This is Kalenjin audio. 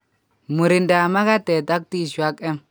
Murindab magatet ak tissue ak M